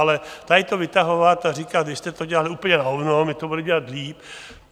Ale tady to vytahovat a říkat, vy jste to dělali úplně na hovno, my to budeme dělat líp?